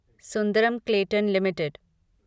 Sundaram Clayton limited